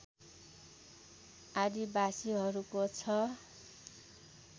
आदिवासीहरूको छ